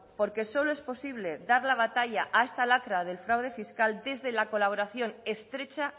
porque solo es posible dar la batalla a esta lacra del fraude fiscal desde la colaboración estrecha